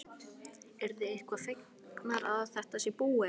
Hödd: Eruð þið eitthvað fegnar að þetta sé búið eða?